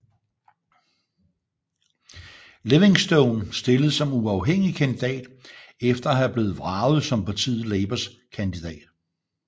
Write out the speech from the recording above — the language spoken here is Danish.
Livingstone stillede som uafhængig kandidat efter at have blevet vraget som partiet Labours kandidat